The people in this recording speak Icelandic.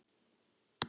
Bless amma mín.